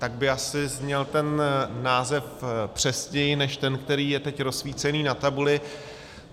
Tak by asi zněl ten název přesněji než ten, který je teď rozsvícený na tabuli.